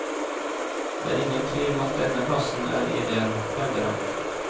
Det er ingen tvil om at denne plassen er ideell, hevder han.